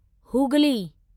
Hooghly